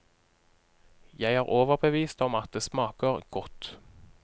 Jeg er overbevist om at det smaker godt.